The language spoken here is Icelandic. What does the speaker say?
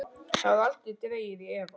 Það var aldrei dregið í efa.